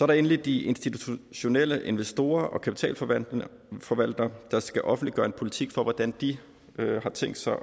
der endelig de institutionelle investorer og kapitalforvaltere der skal offentliggøre en politik for hvordan de har tænkt sig